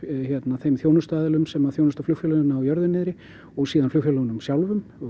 þeim þjónustuaðilum sem þjónusta flugfélögin á jörðu niðri og síðan flugfélögunum sjálfum